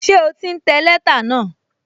Ṣé o ti ń tẹ lẹ́tà náà?